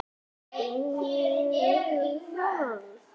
Það gefur ekki góða raun.